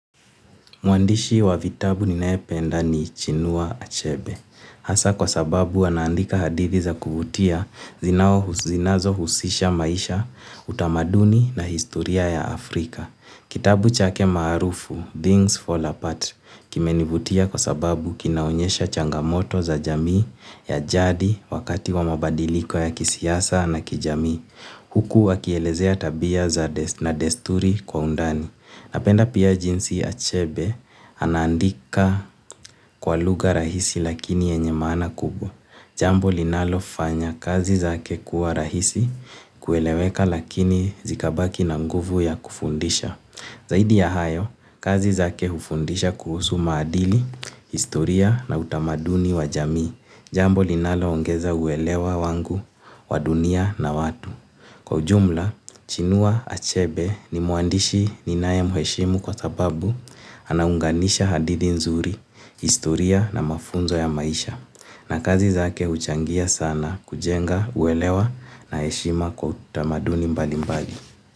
Mwandishi wa vitabu ninayependa ni Chinua Achebe. Hasa kwa sababu anaandika hadithi za kuvutia zinao zinazohusisha maisha, utamaduni na historia ya Afrika. Kitabu chake maarufu, Things Fall Apart, kimenivutia kwa sababu kinaonyesha changamoto za jamii ya jadi wakati wa mabadiliko ya kisiasa na kijamii. Huku wakielezea tabia na desturi kwa undani. Napenda pia jinsi Achebe anaandika kwa lugha rahisi lakini yenye maana kubwa. Jambo linalo fanya kazi zake kuwa rahisi kueleweka lakini zikabaki na nguvu ya kufundisha. Zaidi ya hayo, kazi zake hufundisha kuhusu maadili, historia na utamaduni wa jamii. Jambo linaloongeza uwelewa wangu, wa dunia na watu. Kwa ujumla, chinua achebe ni mwandishi ninayemheshimu kwa sababu anaunganisha hadithi nzuri, historia na mafunzo ya maisha na kazi zake huchangia sana kujenga uwelewa na heshima kwa utamaduni mbali mbali.